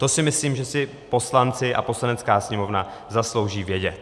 To si myslím, že si poslanci a Poslanecká sněmovna zaslouží vědět.